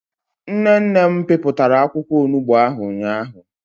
Nne nne m piputara akwukwo onugbo ahu ụnyahụ.